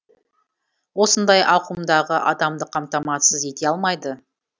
осындай ауқымдағы адамды қамтамасыз ете алмайды